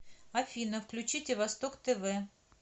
афина включите восток тв